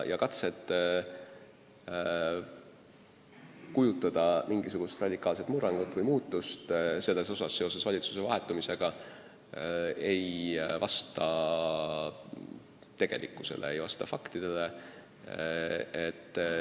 Katsed kujutada mingisugust radikaalset murrangut või muutust selles osas seoses valitsuse vahetumisega on alusetud – see ei vasta tegelikkusele, ei vasta faktidele.